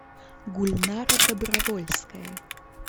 гульнара добровольская